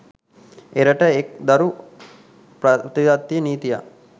එරට එක් දරු ප්‍රතිපත්තිය නීතියක්